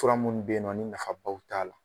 Fura munnu be yen nɔ ni nafabaw t'a la.